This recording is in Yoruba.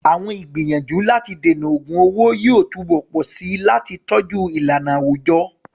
Àwọn ìgbìyànjú láti dènà ògun owó yóò túbọ̀ pọ̀ sí i láti tọ́jú ìlànà àwùjọ.